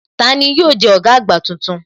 Tani yóò jẹ́ ọ̀gá àgbà tuntun?